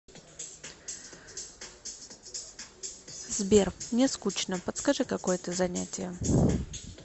сбер мне скучно подскажи какое то занятие